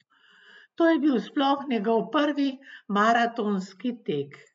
To je bil sploh njegov prvi maratonski tek!